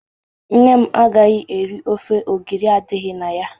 Nne m agaghị eri ofe ogiri adịghị na ya.